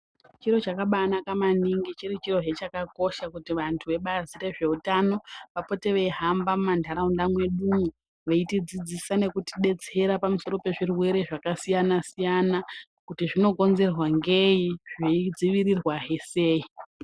Chiro chakabaanaka maningi, chiri chiro hee chakakosha kuti vantu vebazi rezveutano vapote veihamba mumandaraunda mwedumwo veitidzidzisa nekutidetsera pamusoro pezvirwere zvakasiyana-siyana kuti zvinokonzerwa ngei zveidzivirirwa hee sei?.